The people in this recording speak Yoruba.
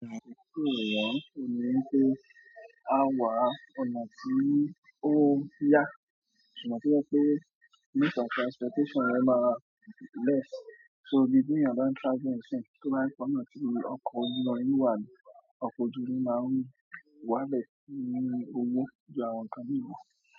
Means of transportation yẹn ma less, so bí ti èèyàn bá ń traveli ń siyin, tó bá ń fi ní ọkọ̀ ojú mi máa ń wá ń be, tí o lò owó jù àwọn ǹkan míì lọ.